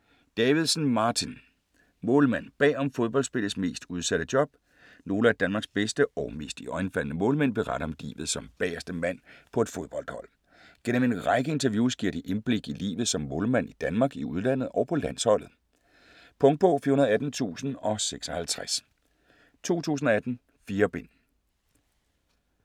Davidsen, Martin: Målmand: bag om fodboldspillets mest udsatte job Nogle af Danmarks bedste og mest iøjnefaldende målmænd beretter om livet som bagerste mand på et fodboldhold. Gennem en række interviews giver de et indblik i livet som målmand i Danmark, i udlandet og på landsholdet. Punktbog 418056 2018. 4 bind.